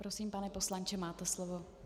Prosím, pane poslanče, máte slovo.